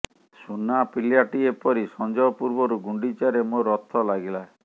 ସୁନା ପିଲାଟିଏ ପରି ସଞ୍ଜ ପୂର୍ବରୁ ଗୁଣ୍ଡିଚାରେ ମୋ ରଥ ଲାଗିଲା